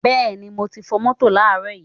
Beeni moti fo moto laaro yi